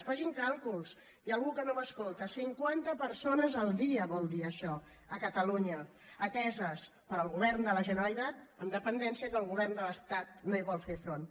facin càlculs hi ha algú que no m’escolta cinquanta persones al dia vol dir això a catalunya ateses pel govern de la generalitat amb dependència que el govern de l’estat no hi vol fer front